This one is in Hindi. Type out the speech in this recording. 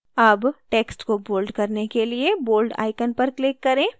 अब text को bold करने के लिए bold icon पर click करें